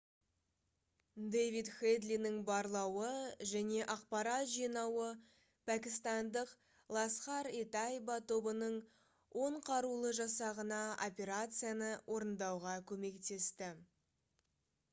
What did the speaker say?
дэвид хэдлидің барлауы және ақпарат жинауы пәкістандық «ласхар-и-тайба» тобының 10 қарулы жасағына операцияны орындауға көмектесті